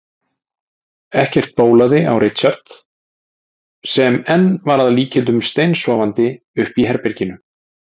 Ekkert bólaði á Richard sem enn var að líkindum steinsofandi uppi í herberginu.